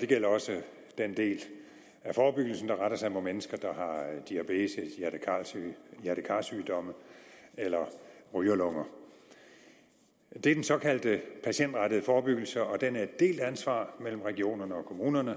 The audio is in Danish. det gælder også den del af forebyggelsen der retter sig mod mennesker der har diabetes hjerte kar sygdomme eller rygerlunger det er den såkaldte patientrettede forebyggelse og den er et delt ansvar mellem regionerne og kommunerne